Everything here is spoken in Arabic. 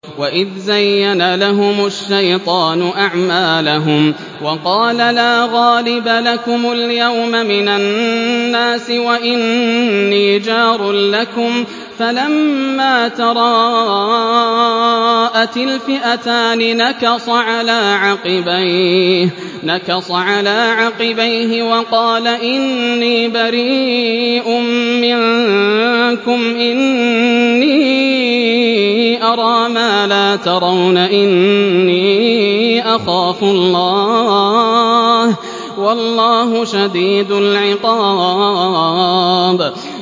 وَإِذْ زَيَّنَ لَهُمُ الشَّيْطَانُ أَعْمَالَهُمْ وَقَالَ لَا غَالِبَ لَكُمُ الْيَوْمَ مِنَ النَّاسِ وَإِنِّي جَارٌ لَّكُمْ ۖ فَلَمَّا تَرَاءَتِ الْفِئَتَانِ نَكَصَ عَلَىٰ عَقِبَيْهِ وَقَالَ إِنِّي بَرِيءٌ مِّنكُمْ إِنِّي أَرَىٰ مَا لَا تَرَوْنَ إِنِّي أَخَافُ اللَّهَ ۚ وَاللَّهُ شَدِيدُ الْعِقَابِ